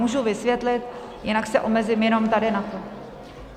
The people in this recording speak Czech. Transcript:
Můžu vysvětlit, jinak se omezím jenom tady na to.